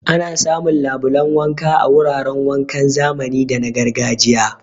Ana samun labulan wanka a wuraran wankan zamani da na gargajiya.